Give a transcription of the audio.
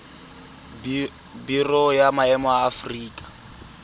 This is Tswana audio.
biro ya maemo ya aforika